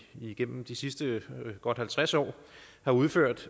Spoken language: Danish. igennem de sidste godt halvtreds år har udført